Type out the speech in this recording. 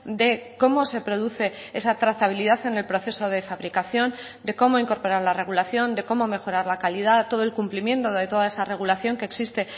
de cómo se produce esa trazabilidad en el proceso de fabricación de cómo incorporar la regulación de cómo mejorar la calidad todo el cumplimiento de toda esa regulación que existe